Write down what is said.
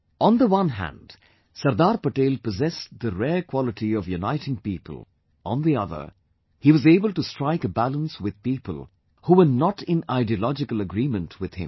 On the one hand Sardar Patel, possessed the rare quality of uniting people; on the other, he was able to strike a balance with people who were not in ideological agreement with him